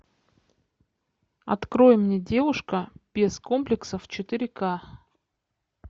открой мне девушка без комплексов четыре ка